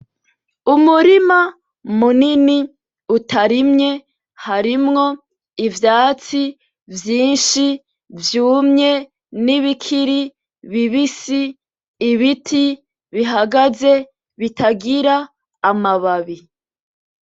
Umurima munini utarimye harimwo ivyatsi vyinshi vyumye, nibikiri bibisi, ibiti bihagaze bitagira amababi.